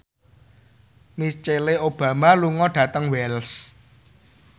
Michelle Obama lunga dhateng Wells